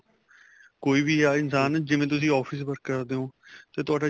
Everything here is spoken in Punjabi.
ਕੋਈ ਵੀ ਆ ਇਨਸ਼ਾਨ ਜਿਵੇਂ ਤੁਸੀਂ office work ਕਰਦੇ ਹੋ ਜੇ ਤੁਹਾਡਾ